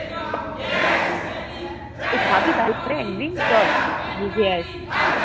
এই খাবি তাহলে একদিন? চল তাহলে খেয়ে আসি।